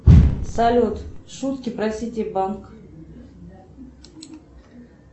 салют шутки про сити банк